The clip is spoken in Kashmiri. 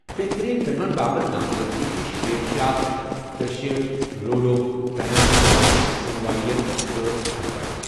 بہتٔریٖن فلمن باپتھ نامزدگی چھے٘ شیرشاہ، ترےشیٖتھ، Ludo, Tanhaji the unsung warrior, تہٕ تھپڑ